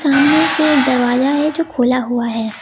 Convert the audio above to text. तांबे के दरवाजा है जो खोला हुआ है।